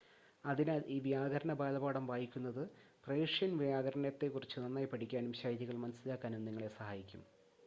അതിനാൽ, ഈ വ്യാകരണ ബാലപാഠം വായിക്കുന്നത് പേർഷ്യൻ വ്യാകരണത്തെക്കുറിച്ച് നന്നായി പഠിക്കാനും ശൈലികൾ മനസ്സിലാക്കാനും നിങ്ങളെ സഹായിക്കും